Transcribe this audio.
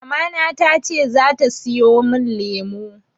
Mamana tace zata siyo min lemu.